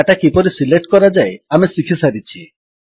data କିପରି select କରାଯାଏ ଆମେ ଶିଖିସାରିଛେ